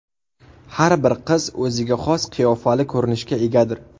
Har bir qiz o‘ziga xos qiyofali ko‘rinishga egadir.